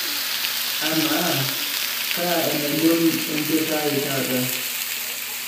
amaa kaa enaibon enchoto ai taata